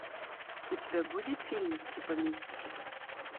у тебя будет фильмик типа мистики